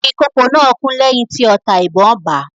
Ìkokò náà kú lẹ́yìn tí ọta ìbọn bà á.